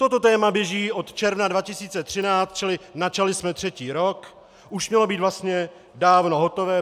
Toto téma běží od června 2013, čili načali jsme třetí rok, už mělo být vlastně dávno hotové.